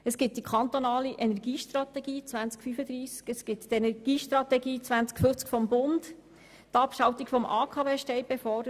Es gibt die kantonale Energiestrategie 2035, die Energiestrategie 2050 des Bundes und die Abschaltung des AKW steht bevor.